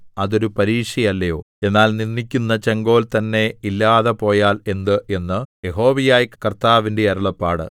അതൊരു പരീക്ഷയല്ലയോ എന്നാൽ നിന്ദിക്കുന്ന ചെങ്കോൽ തന്നെ ഇല്ലാതെ പോയാൽ എന്ത് എന്ന് യഹോവയായ കർത്താവിന്റെ അരുളപ്പാട്